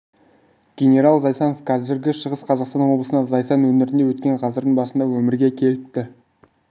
генерал зайсанов қазіргі шығыс қазақстан облысындағы зайсан өңірінде өткен ғасырдың басында өмірге келіпті